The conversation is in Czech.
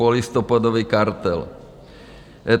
Polistopadový kartel.